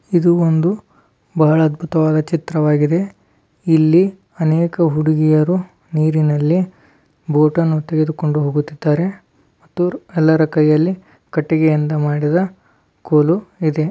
ಇದು ಒಂದು ಬಹಳ ಅದ್ಭುತವಾದ ಚಿತ್ರವಾಗಿದೆ ಇಲ್ಲಿ ಅನೇಕ ಹುಡುಗಿಯರು ನೀರಿನಲ್ಲಿ ಬೋಟನ್ನು ತೆಗೆದುಕೊಂಡು ಹೋಗುತ್ತಿದ್ದಾರೆ ಮತ್ತು ಎಲ್ಲರ ಕೈಯಲ್ಲಿ ಕಟ್ಟಿಗೆಯಿಂದ ಮಾಡಿದ ಕೋಲು ಇದೆ.